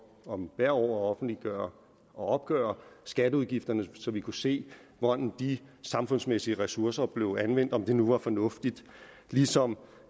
om hvert år at offentliggøre og opgøre skatteudgifterne så vi kunne se hvordan de samfundsmæssige ressourcer blev anvendt om det nu var fornuftigt ligesom